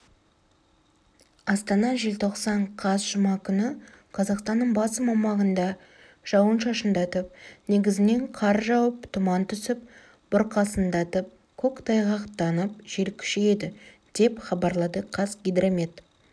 астана желтоқсан қаз жұма күні қазақстанның басым аумағында жауын-шашындатып негізінен қар жауып тұман түсіп бұрқасындатып көктайғақтанып жел күшейеді деп хабарлады қазгидромет